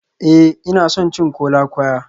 Ee, ina son cin kola-kwaya